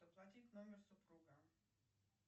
оплатить номер супруга